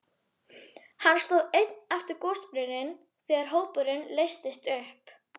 Hann stóð einn eftir við gosbrunninn þegar hópurinn leystist upp.